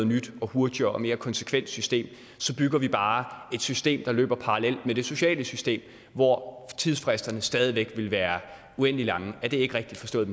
nyt og hurtigere og mere konsekvent system så bygger vi bare et system der løber parallelt med det sociale system hvor tidsfristerne stadig væk vil være uendelig lange er det ikke rigtigt forstået